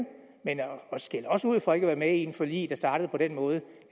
men at skælde os ud for ikke at være med i et forlig der startede på den måde